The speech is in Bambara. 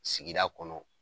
Sigida kɔnɔ.